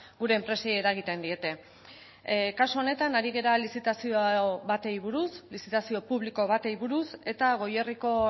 gure enpresei eragiten diete kasu honetan ari gara lizitazio bati buruz lizitazio publiko bati buruz eta goierriko